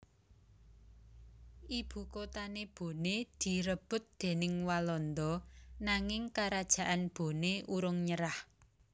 Ibukotané Boné direbut déning Walanda nanging Karajaan Boné urung nyerah